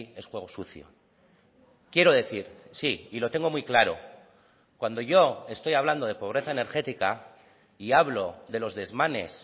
es juego sucio quiero decir sí y lo tengo muy claro cuando yo estoy hablando de pobreza energética y hablo de los desmanes